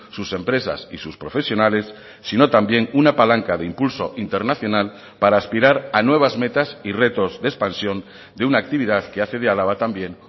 sus empresas y sus profesionales sino también una palanca de impulso internacional para aspirar a nuevas metas y retos de expansión de una actividad que hace de álava también